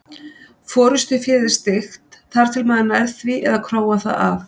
Forystuféð er styggt þar til maður nær því eða króar það af.